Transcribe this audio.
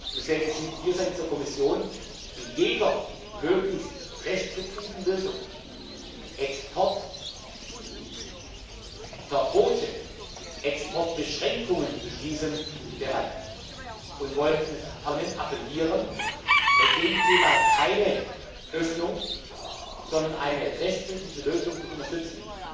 Deswegen sind wir seitens der Kommission zu jeder möglichst restriktiven Lösung, Exportverbote, Exportbeschränkungen zu beschließen, bereit und wollen an das Parlament appellieren, bei diesem Thema keine Öffnung, sondern eine restriktive Lösung zu unterstützen.